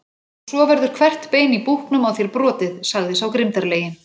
Og svo verður hvert bein í búknum á þér brotið, sagði sá grimmdarlegi.